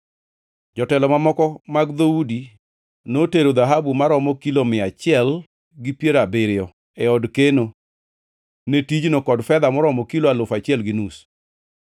Jotelo mamoko mag dhoudi notero dhahabu maromo kilo mia achiel gi piero abiriyo e od keno ne tijno kod fedha moromo kilo alufu achiel gi nus.